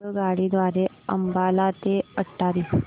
आगगाडी द्वारे अंबाला ते अटारी